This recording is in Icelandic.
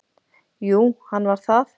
Jú, hann var það.